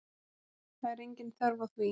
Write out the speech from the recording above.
Það er engin þörf á því